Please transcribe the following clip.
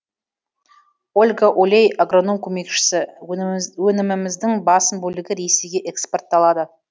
ольга олей агроном көмекшісі өніміміздің басым бөлігі ресейге экспортталады